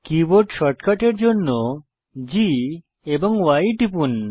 keyboard শর্টকাটের জন্য G এবং Y টিপুন